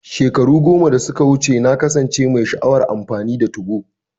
Shekaru goma da suka wuce, na kasance mai sha'awar amfani da 2go.